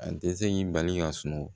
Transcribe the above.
A tɛ se k'i bali ka sunɔgɔ